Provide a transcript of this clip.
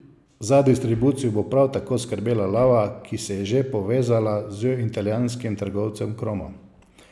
Za distribucijo bo prav tako skrbela Lava, ki se je že povezala z indijskim trgovcem Cromo.